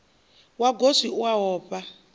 wa goswi u ofha u